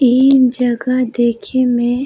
इ जग़ह देखे में --